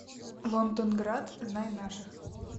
лондонград знай наших